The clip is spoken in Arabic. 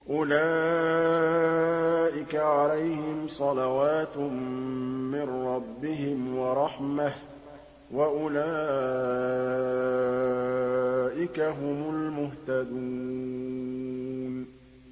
أُولَٰئِكَ عَلَيْهِمْ صَلَوَاتٌ مِّن رَّبِّهِمْ وَرَحْمَةٌ ۖ وَأُولَٰئِكَ هُمُ الْمُهْتَدُونَ